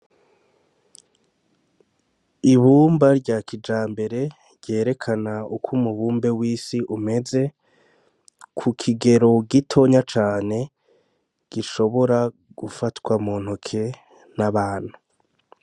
Ibumba rya kijambere ryerekana uk'umubumbe w'isi umeze kukigero gitonya cane gishobora gufatwa muntoke n'abantu.